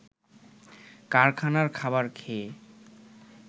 কারখানার খাবার খেয়ে